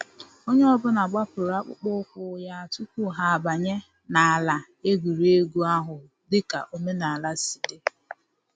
Onye ọ bụla gbapụrụ akpụkpọ ụkwụ ya tupu ha abanye n’ala egwuregwu ahụ, dịka omenala si di